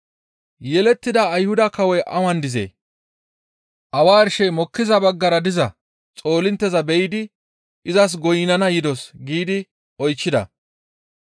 «Yelettida Ayhuda kawoy awan dizee? Awa arshey mokkiza baggara diza xoolintteza be7idi izas goynnana yidos» giidi oychchida.